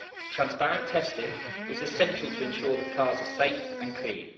Transparent testing is essential to ensure that cars are safe and clean.